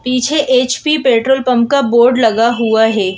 पीछे HP petrol pump का board लगा हुआ है।